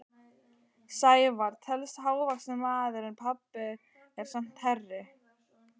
Sævar telst hávaxinn maður en pabbi er samt hærri.